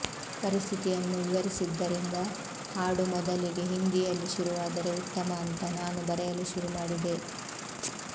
ಪರಿಸ್ಥಿತಿಯನ್ನು ವಿವರಿಸಿದ್ದರಿಂದ ಹಾಡು ಮೊದಲಿಗೆ ಹಿಂದಿಯಲ್ಲಿ ಶುರುವಾದರೆ ಉತ್ತಮ ಅಂತ ನಾನು ಬರೆಯಲು ಶುರು ಮಾಡಿದೆ